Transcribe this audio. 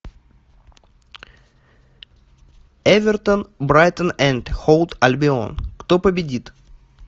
эвертон брайтон энд хоув альбион кто победит